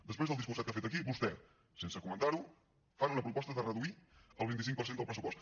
després del discurset que ha fet aquí vostès sense comentar ho fan una proposta de reduir el vint cinc per cent del pressupost